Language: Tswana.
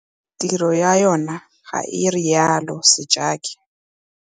Tiro ya yona, ga rialo Sejake.